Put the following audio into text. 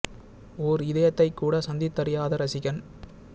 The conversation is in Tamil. ஓர் இதயத்தைக்கூட சந்தித்தறியாத ரசிகன்